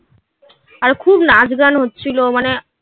আর খুব নাচ গান হচ্ছিলো মানে